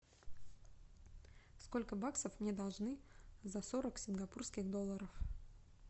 сколько баксов мне должны за сорок сингапурских долларов